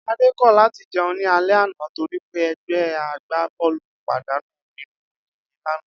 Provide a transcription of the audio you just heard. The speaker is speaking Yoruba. Adé kò̩ láti je̩un ní alé̩ àná torí pé e̩gbé̩ agbábó̩ò̩lù pàdánù nínú ìdíje lánàá